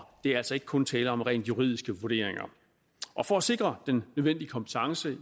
er altså ikke kun tale om rent juridiske vurderinger og for at sikre den nødvendige kompetence